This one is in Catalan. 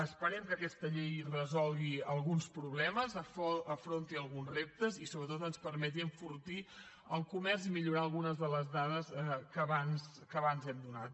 esperem que aquesta llei resolgui alguns problemes afronti alguns reptes i sobretot ens permeti enfortir el comerç i millorar algunes de les dades que abans hem donat